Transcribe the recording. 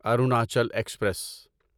Arunachal express